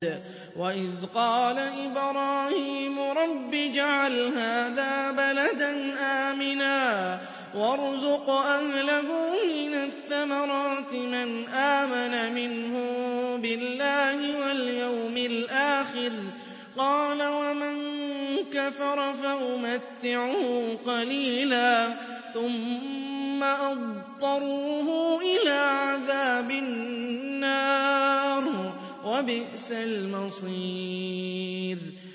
وَإِذْ قَالَ إِبْرَاهِيمُ رَبِّ اجْعَلْ هَٰذَا بَلَدًا آمِنًا وَارْزُقْ أَهْلَهُ مِنَ الثَّمَرَاتِ مَنْ آمَنَ مِنْهُم بِاللَّهِ وَالْيَوْمِ الْآخِرِ ۖ قَالَ وَمَن كَفَرَ فَأُمَتِّعُهُ قَلِيلًا ثُمَّ أَضْطَرُّهُ إِلَىٰ عَذَابِ النَّارِ ۖ وَبِئْسَ الْمَصِيرُ